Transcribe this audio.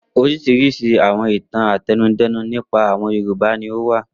Oríṣiríṣi àwọn ìtàn àtẹnudẹ́nu nípa àwọn Yorùbá ni ó wà.